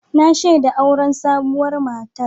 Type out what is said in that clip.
Na shaida auren sabuwar matar.